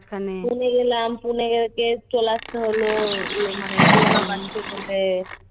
পুনে গেলাম পুনে থেকে চলে আসতে হল মানে করোনা বাড়ছে বলে